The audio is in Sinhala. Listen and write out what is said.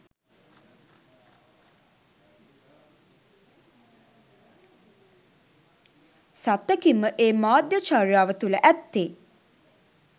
සත්තකින්ම ඒ මාධ්‍ය චර්යාව තුළ ඇත්තේ